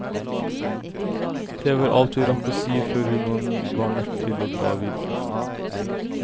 Det var alt vi rakk å si før hun var nødt til å dra videre.